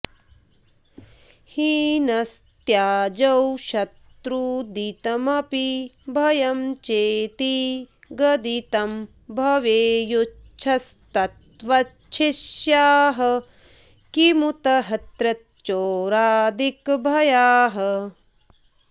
हिनस्त्याजौ शत्रूदितमपि भयं चेति गदितं भवेयुस्त्वच्छिष्याः किमुतहृत चोरादिक भयाः